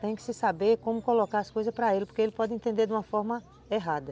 Tem que saber como colocar as coisas para ele, porque ele pode entender de uma forma errada.